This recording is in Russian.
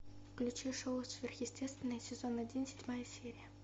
включи шоу сверхъестественное сезон один седьмая серия